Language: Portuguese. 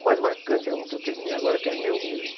O mais marcante é um que eu terminei agora, que é meu mesmo.